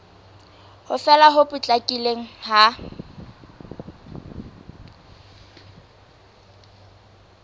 ho fela ho potlakileng ha